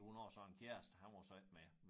Hun har så en kæreste han var så ikke med